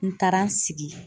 N taara n sigi.